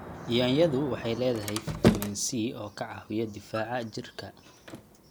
Yaanyadu waxay leedahay fitamiin C oo ka caawiya difaaca jidhka.